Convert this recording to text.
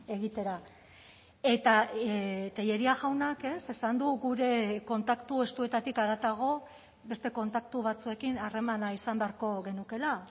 egitera eta tellería jaunak esan du gure kontaktu estuetatik haratago beste kontaktu batzuekin harremana izan beharko genukeela